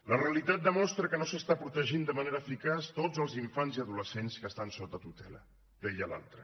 la realitat demostra que no s’estan protegint de manera eficaç tots els infants i adolescents que estan sota tutela deia l’altra